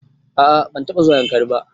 A a ban taɓa zuwa Yankari ba.